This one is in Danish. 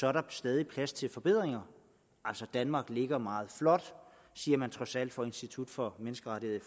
er der stadig plads til forbedringer altså danmark ligger meget flot siger man trods alt på institut for menneskerettigheder